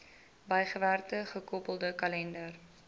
bygewerkte gekoppelde kalender